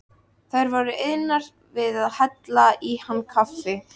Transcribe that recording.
Þær voru iðnar við að hella í hann kaffi.